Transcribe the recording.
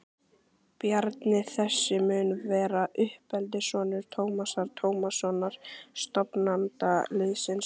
Bjarni þessi mun vera uppeldissonur Tómasar Tómassonar, stofnanda liðsins.